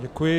Děkuji.